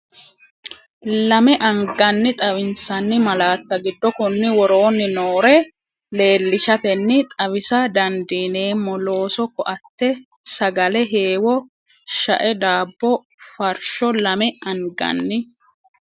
Lame anganni xawinsanni malaatta giddo konni woroonni noore leellishatenni xawisa dandiineemmo looso koatte sagale heewo shae daabbo farsho Lame anganni.